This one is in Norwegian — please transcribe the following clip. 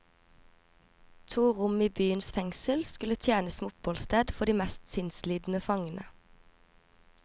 To rom i byens fengsel skulle tjene som oppholdssted for de mest sinnslidende fangene.